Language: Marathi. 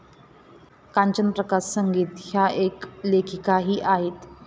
कांचन प्रकाश संगीत ह्या एक लेखिकाही आहेत.